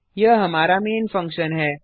यह हमारा main function हैं